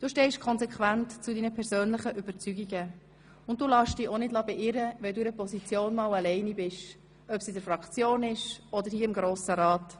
Du stehst konsequent zu deinen persönlichen Überzeugungen und lässt dich auch nicht beirren, wenn du einmal alleine mit einer Position bist – sei es in der Fraktion, sei es im Grossen Rat: